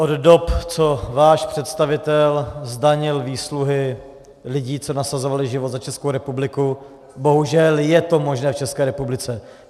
Od dob, co váš představitel zdanil výsluhy lidí, co nasazovali život za Českou republiku, bohužel je to možné v České republice.